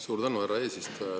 Suur tänu, härra eesistuja!